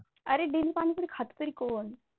अरे daily पाणीपुरी खात तरी कोण?